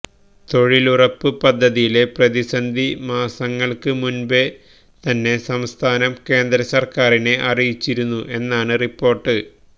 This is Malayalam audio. തൊഴിലുറപ്പ് പദ്ധതിയിലെ പ്രതിസന്ധി മാസങ്ങൾക്ക് മുന്പ് തന്നെ സംസ്ഥാനം കേന്ദ്ര സർക്കാറിനെ അറിയിച്ചിരുന്നു എന്നാണ് റിപ്പോർട്ട്